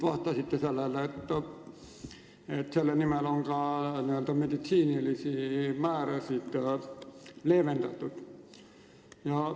Vastasite, et selle nimel on ka meditsiinilisi nõudeid leevendatud.